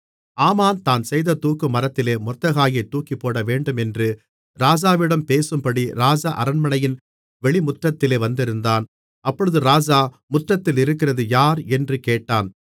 ஆமான் தான் செய்த தூக்குமரத்திலே மொர்தெகாயைத் தூக்கிப்போடவேண்டுமென்று ராஜாவிடம் பேசும்படி ராஜஅரண்மனையின் வெளிமுற்றத்திலே வந்திருந்தான் அப்பொழுது ராஜா முற்றத்திலிருக்கிறது யார் என்று கேட்டான்